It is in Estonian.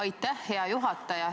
Aitäh, hea juhataja!